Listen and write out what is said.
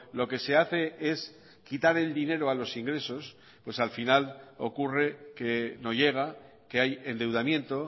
lo que se hace es quitar el dinero a los ingresos pues al final ocurre que no llega que hay endeudamiento